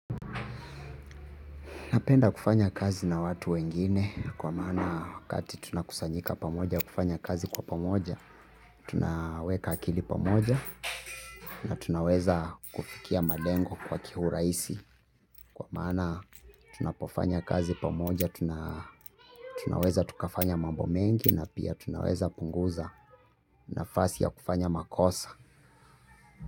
Napenda kufanya kazi na watu wengine kwa maana wakati tunakusanyika pamoja kufanya kazi kwa pamoja, tunaweka akili pamoja na tunaweza kufikia malengo kwa kiurahisi. Kwa maana tunapofanya kazi pamoja, tunaweza tukafanya mambo mengi na pia tunaweza punguza nafasi ya kufanya makosa.